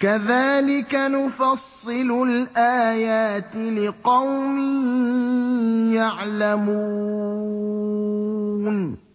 كَذَٰلِكَ نُفَصِّلُ الْآيَاتِ لِقَوْمٍ يَعْلَمُونَ